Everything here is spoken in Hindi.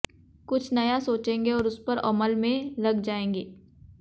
कुछ नया सोचेंगे और उस पर अमल में लग जाएंगे